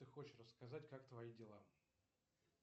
ты хочешь рассказать как твои дела